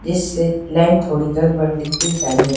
इससे नाइन थोड़ी गड़बड़ दिखिए जाड़िये--